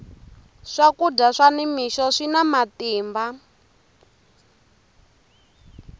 swakudya swa ni mixo swina matimba